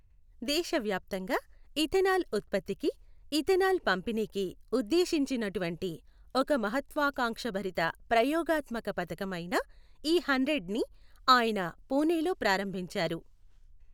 దేశవ్యాప్తంగా ఇథెనాల్ ఉత్పత్తికి, ఇథెనాల్ పంపిణీకి ఉద్దేశించినటువంటి ఒక మహత్వాకాంక్షభరిత ప్రయోగాత్మక పథకం అయిన ఇ హండ్రెడ్ ని ఆయన పుణేలో ప్రారంభించారు.